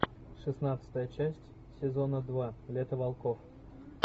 шестнадцатая часть сезона два лето волков